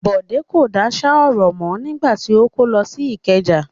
Bọ̀dé kò dáṣà ọ̀rọ̀ mọ́ nígbà tí ó kó lọ sí Ìkẹjà.